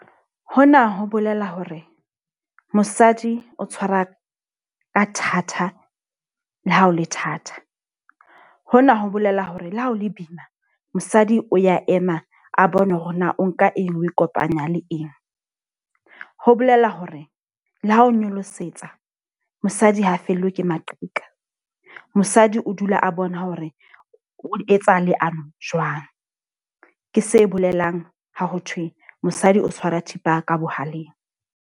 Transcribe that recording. Hona ho bolela hore, mosadi o tshwara ka thatha le ha ho le thata. Ho na ho bolela hore le ha ho le boima, mosadi o ya ema a bone hore na o nka eng oe kopanya le eng. Ho bolela hore le ha ho nyolosetsa mosadi ha fellwe ke maqheka. Mosadi o dula a bona hore o etsa leano jwang. Ke se bolelang ha ho thwe mosadi o tshwara thipa ka bohaleng.